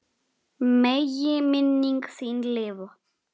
Megi minning þín lifa.